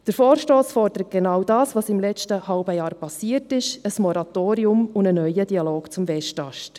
Der Vorstoss fordert genau das, was im letzten halben Jahr passiert ist: ein Moratorium und ein neuer Dialog zum Westast.